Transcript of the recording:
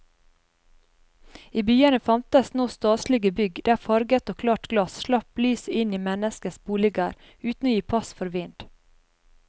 I byene fantes nå staselige bygg der farvet og klart glass slapp lyset inn i menneskenes boliger uten å gi pass for vind.